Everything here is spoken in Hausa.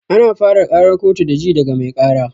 Ana fara ƙarar kotu da ji daga mai ƙara